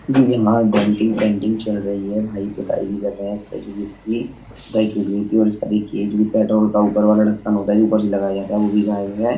यहाँ denting painting चल रही है। भाई पुताई भी कर रहे हैं इसपे जोकि इसकी पुताई छूट गयी थी और इसका देखिये पेट्रोल का जो ऊपर वाला ढ़क्कन होता है जो ऊपर से लगाया जाता है वो भी गायब है।